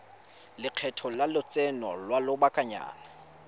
lekgetho la lotseno lwa lobakanyana